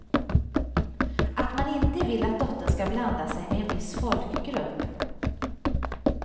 Att man inte vill att dottern ska blanda sig med en viss folkgrupp.